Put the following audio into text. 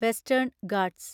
western Ghats